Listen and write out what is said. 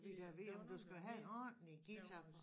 Ja gad vide om du skal jo have en ordenlig guitar for